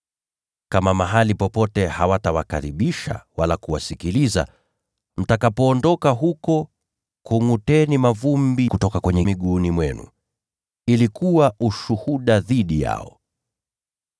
Kama mahali popote hawatawakaribisha wala kuwasikiliza, mtakapoondoka huko, kungʼuteni mavumbi kutoka kwenye miguu yenu ili kuwa ushuhuda dhidi yao.”